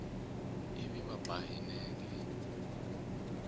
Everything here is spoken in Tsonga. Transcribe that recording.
ivi va ba hi nenge